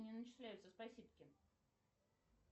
не начисляются спасибки